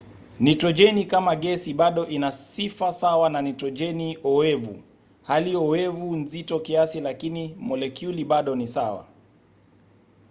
nitrojeni kama gesi bado ina sifa sawa na nitrojeni oevu. hali oevu nzito kiasi lakini molekyuli bado ni sawa